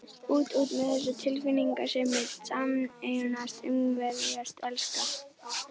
Út, út með þessa tilfinningasemi: sameinast, umvefjast, elska.